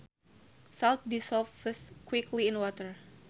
Salt dissolves quickly in water